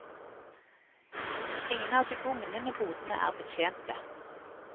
Ingen av de bugnende bodene er betjente.